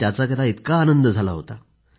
त्याचा त्याला इतका आनंद झाला होता